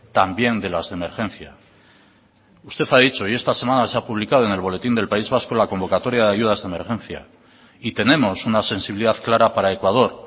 también de las de emergencia usted ha dicho y esta semana se ha publicado en el boletín del país vasco la convocatoria de ayudas de emergencia y tenemos una sensibilidad clara para ecuador